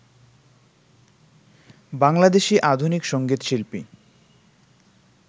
বাংলাদেশী আধুনিক সঙ্গীত শিল্পী